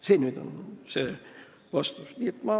See oli nüüd see vastus.